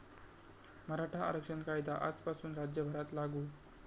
मराठा आरक्षण कायदा आजपासून राज्यभरात लागू